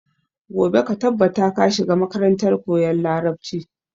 Gobe ka tabbata ka shiga makarantar koyan larabci!